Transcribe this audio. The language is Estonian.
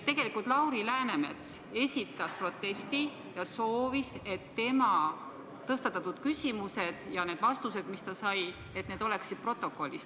Tegelikult Lauri Läänemets esitas protesti ja soovis, et tema tõstatatud küsimused ja vastused, mis ta sai, oleksid protokollis.